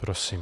Prosím.